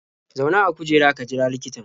Zauna a kujera ka jira likitan.